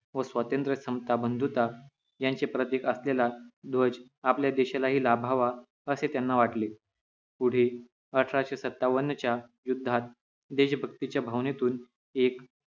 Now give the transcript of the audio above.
व स्वातंत्र्य समता बंधुता यांचे प्रतीक असलेला ध्वज आपल्या देशालाही लाभावा असे त्यांना वाटले पुढे अठराशे सत्तावन्न च्या युद्धात देशभक्तीच्या भावनेतून एक